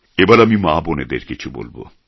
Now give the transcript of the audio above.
এবার আমি মা বোনেদের কিছু বলবো